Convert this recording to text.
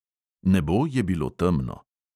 Nebo je bilo temno.